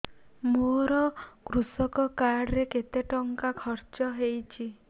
ମୋ କୃଷକ କାର୍ଡ ରେ କେତେ ଟଙ୍କା ଖର୍ଚ୍ଚ ହେଇଚି